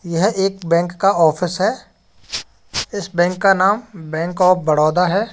यह एक बैंक का ऑफिस है। इस बैंक का नाम बैंक ऑफ बडोदा है।